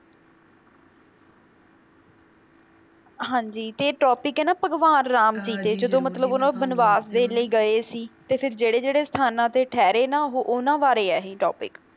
ਹਾਂ ਜੀ ਤੇ topic ਏ ਨਾ ਭਗਵਾਨ ਰਾਮ ਸੀਗੇ ਜਦੋ ਮਤਲਬ ਉਹਨਾਂ ਬਨਵਾਸ ਦੇ ਲਈ ਗਏ ਸੀ ਤੇ ਫਿਰ ਜਿਹੜੇ ਜਿਹੜੇ ਸਥਾਨਾਂ ਤੇ ਠਹਿਰੇ ਨਾ ਉਹ ਉਹਨਾਂ ਬਾਰੇ ਆ ਇਹ topic